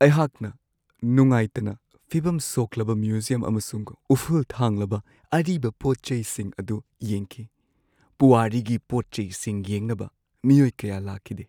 ꯑꯩꯍꯥꯛꯅ ꯅꯨꯡꯉꯥꯏꯇꯅ ꯐꯤꯕꯝ ꯁꯣꯛꯂꯕ ꯃ꯭ꯌꯨꯖꯤꯌꯝ ꯑꯃꯁꯨꯡ ꯎꯐꯨꯜ ꯊꯥꯡꯂꯕ ꯑꯔꯤꯕ ꯄꯣꯠ-ꯆꯩꯁꯤꯡ ꯑꯗꯨ ꯌꯦꯡꯈꯤ ꯫ ꯄꯨꯋꯥꯔꯤꯒꯤ ꯄꯣꯠ-ꯆꯩꯁꯤꯡ ꯌꯦꯡꯅꯕ ꯃꯤꯑꯣꯏ ꯀꯌꯥ ꯂꯥꯛꯈꯤꯗꯦ ꯫